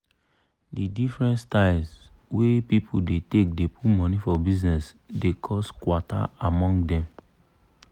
di different styles wey people dey take dey put money for bizness dey cos kwata among dem.